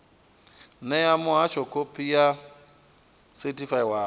ṋee muhasho khophi yo sethifaiwaho